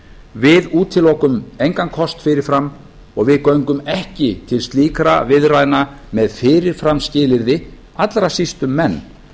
við útilokum engan kost fyrir fram og við göngum ekki til slíkra viðræðna með fyrirframskilyrði allra síst um menn